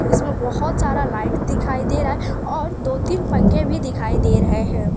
इसमें बहोत सारा लाइट दिखाई दे रहा है और दो तीन पंखे भी दिखाई दे रहे हैं।